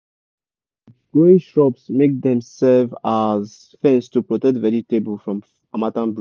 make we put manure put manure early so all d better go enter soil well before dry season go come.